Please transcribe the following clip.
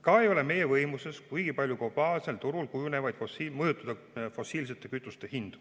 Ka ei ole meie võimuses globaalsel turul kuigi palju mõjutada fossiilsete kütuste hindu.